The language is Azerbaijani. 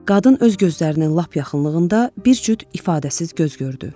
Qadın öz gözlərinin lap yaxınlığında bir cüt ifadəsiz göz gördü.